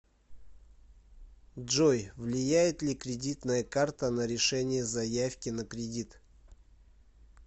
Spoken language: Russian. джой влияет ли кредитная карта на решения заявки на кредит